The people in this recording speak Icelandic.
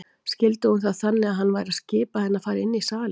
Skildi hún það þannig að hann væri að skipa henni að fara inn í salinn?